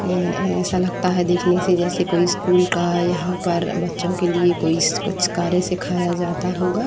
ए-ए ऐसा लगता है देखने से जैसे कोई स्कूल का यहाँ पर बच्चों के लिए कोई स्-क्-स्-कार्य सिखाया जाता होगा।